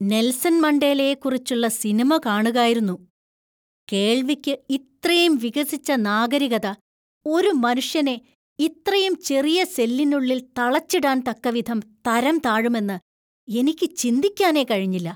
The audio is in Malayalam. നെൽസൺ മണ്ടേലയെക്കുറിച്ചുള്ള സിനിമ കാണുകായിരുന്നു. കേള്‍വിക്ക് ഇത്രേം വികസിച്ച നാഗരികത ഒരു മനുഷ്യനെ ഇത്രയും ചെറിയ സെല്ലിനുള്ളിൽ തളച്ചിടാൻ തക്കവിധം തരംതാഴുമെന്ന് എനിക്ക് ചിന്തിക്കാനേ കഴിഞ്ഞില്ല.